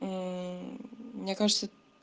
ээ мне кажется